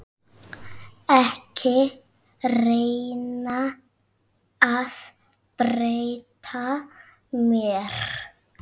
Ekki reyna að breyta mér.